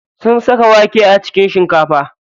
Sun saka wake a cikin shinkafa.